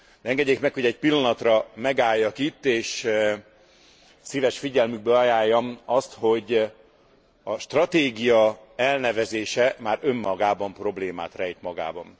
Engedjék meg, hogy egy pillanatra megálljak itt és szíves figyelmükbe ajánljam azt, hogy a stratégia elnevezése már önmagában problémát rejt magában.